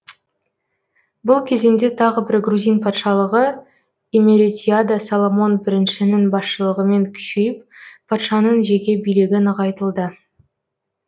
бұл кезеңде тағы бір грузин патшалығы имеретияда соломон біріншінің басшылығымен күшейіп патшаның жеке билігі нығайтылды